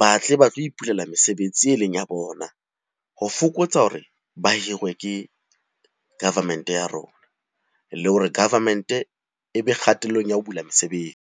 ba tle ba tlo ipulela mesebetsi e leng ya bona. Ho fokotsa hore ba hirwe ke government-e ya rona, le hore government-e e be kgatellong ya ho bula mesebetsi.